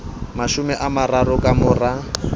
mashome a mararo ka mora